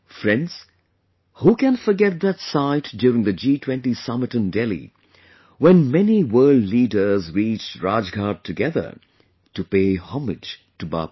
Friends, who can forget that sight during the G20 Summit in Delhi, when many world leaders reached Rajghat together to pay homage to Bapu